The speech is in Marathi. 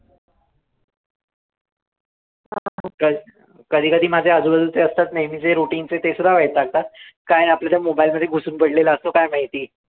क कधी कधी माझ्या आजूबाजूचे असतात नेहमी जे routine चे ते सुद्धा वैतागतात, काय आपलं त्या mobile मध्ये घुसून पडलेला असतो, काय माहिती?